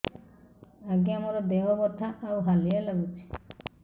ଆଜ୍ଞା ମୋର ଦେହ ବଥା ଆଉ ହାଲିଆ ଲାଗୁଚି